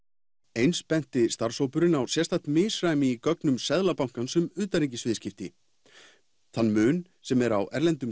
eins benti starfshópurinn á sérstakt misræmi í gögnum Seðlabankans um utanríkis viðskipti þann mun sem er á erlendum